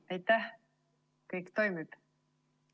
Aitäh!